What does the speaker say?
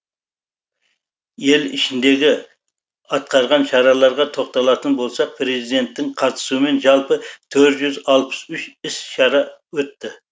ел ішіндегі атқарған шараларға тоқталатын болсақ президенттің қатысуымен жалпы төрт жүз алпыс үш іс шара өтті